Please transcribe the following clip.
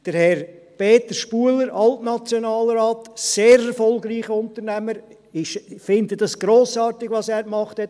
Herr Peter Spuhler, Altnationalrat, sehr erfolgreicher Unternehmer – ich finde es grossartig, was er gemacht hat;